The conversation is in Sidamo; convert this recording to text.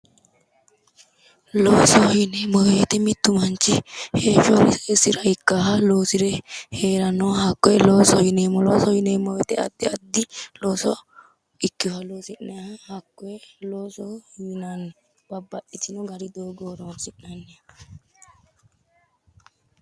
Loosoho yineemmo woyiite mittu manchi heeshshosira ikkaaha loosire heerannoha hakkoye loosoho yineemmo loosoho yineemmo woyiite addi addi looso ikkeyooha loosi'nayiiha hakkoye looosohoyinanni babbaxxitino gari doogo horonsi'nanni